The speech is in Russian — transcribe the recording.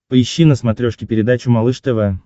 поищи на смотрешке передачу малыш тв